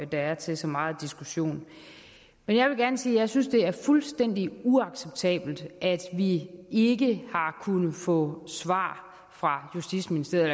der er til så meget diskussion men jeg vil gerne sige at jeg synes det er fuldstændig uacceptabelt at vi ikke har kunnet få svar fra justitsministeriet